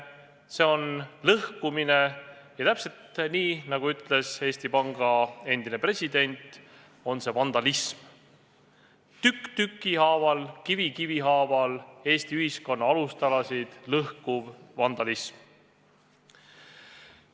See on lõhkumine ja – nii nagu ütles Eesti Panga endine president – see on vandalism, tükk tüki haaval, kivi kivi haaval Eesti ühiskonna alustalasid lõhkuv vandalism.